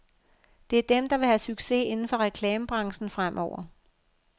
Det er dem, der vil have succes inden for reklamebranchen fremover.